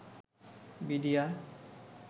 BDR